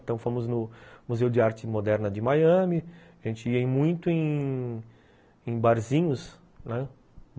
Então fomos no Museu de Arte Moderna de Miami, a gente ia muito em em barzinhos, né?